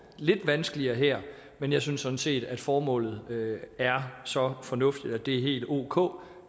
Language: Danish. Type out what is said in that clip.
lidt vanskeligere her men jeg synes sådan set at formålet er så fornuftigt at det er helt ok